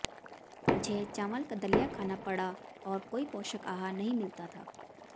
मुझे चावल का दलिया खाना पड़ा और कोई पोषक आहार नहीं मिलता था